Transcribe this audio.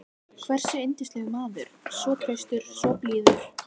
hversu yndislegur maður, svo traustur, svo blíður.